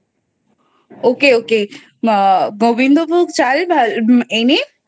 ok ok Gobindo Bhog চাল এনে